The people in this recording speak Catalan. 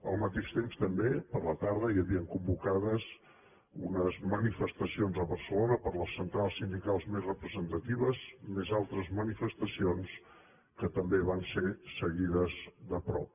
al mateix temps també a la tarda hi havien convocades unes manifestacions a barcelona per les centrals sindicals més representatives més altres manifestacions que també van ser seguides de prop